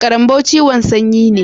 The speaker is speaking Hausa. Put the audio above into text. Karanbo ciwon sanyi ne.